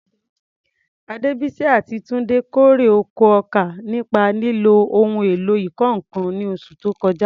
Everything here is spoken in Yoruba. Adebisi àti Tunde kórè oko ọkà nípa lílo ohun èlò ìkọ́ nǹkan ní oṣù tó kọjá.